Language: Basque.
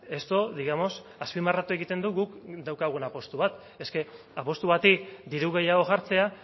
esto digamos azpimarratu egiten du guk daukagun apustu bat es ke apustu bati diru gehiago jartzea